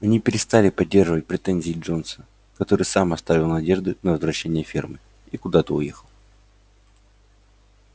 они перестали поддерживать претензии джонса который сам оставил надежды на возвращение фермы и куда-то уехал